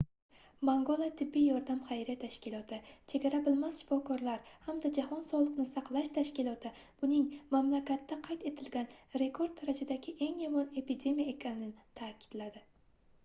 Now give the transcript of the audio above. mangola tibbiy yordam xayriya tashkiloti chegara bilmas shifokorlar hamda jahon sogʻliqni saqlash tashkiloti buning mamlakatda qayd etilgan rekord darajadagi eng yomon epidemiya ekanini taʼkidladi